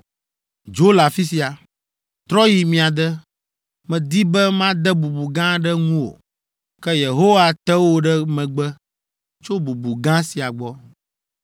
Dzo le afi sia! Trɔ yi mia de! Medi be made bubu gã aɖe ŋuwò, ke Yehowa te wò ɖe megbe tso bubu gã sia gbɔ!”